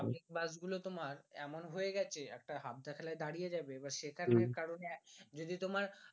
public bus গুলো তোমার এমন হয়ে গেছে একটা হাত দেখলে দাঁড়িয়ে যাবে বা সেইখানে কারণে যদি তোমার